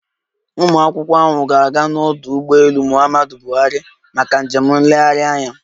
Ụmụakwụkwọ ahụ ga-aga n'ọdụ ụgbọelu Muhammadu Buhari maka njem nlegharị anya